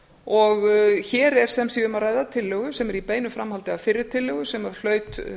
og hér er sem sé tillögu sem er í beinu framhaldi af fyrri tillögu sem að hlaut